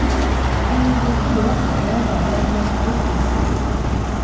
Det är nog den dyraste möbel jag köpt hittills.